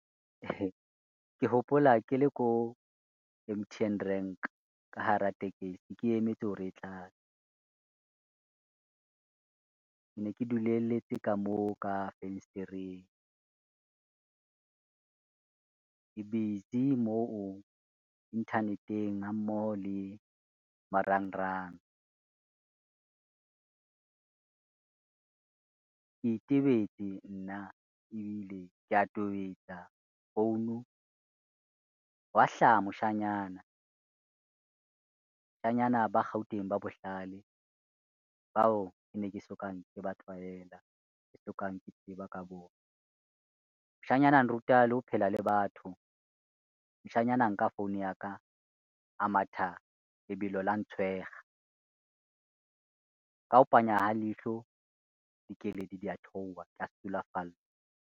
Ke hopola ke le ko M_T_N rank ka hara tekesi, ke emetse hore e tlale. Ke ne ke duletse ka moo ka fensetereng, ke busy mo internet-eng ha mmoho le marangrang. Ke itebetse nna ebile kea tobetsa founu, hwa hlaha moshanyana, moshanyana ba Gauteng ba bohlale bao ke ne ke sokang ke ba tlwaela, ke sokang ke tseba ka bona. Moshanyana a nruta le ho phela le batho, moshanyana nka phone ya ka a matha lebelo la ntshwega, ka ho panya ha leihlo dikeledi dia theowa ka sulafallwa.